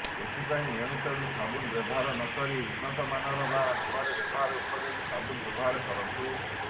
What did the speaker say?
ଏଥିପାଇଁ ଏଣୁତେଣୁ ସାବୁନ୍ ବ୍ୟବହାର ନ କରି ଉନ୍ନତମାନର ବା ମୁହଁରେ ବ୍ୟବହାର ଉପଯୋଗୀ ସାବୁନ୍ ବ୍ୟବହାର କରନ୍ତୁ